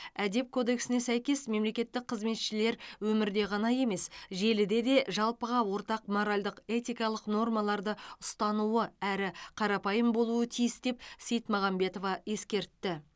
әдеп кодексіне сәйкес мемлекеттік қызметшілер өмірде ғана емес желіде де жалпыға ортақ моральдық этикалық нормаларды ұстануы әрі қарапайым болуы тиіс деп сейтмаганбетова ескертті